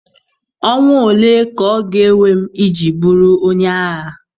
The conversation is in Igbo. Ọnwa ole ka ọ ga-ewe m iji bụrụ onye agha?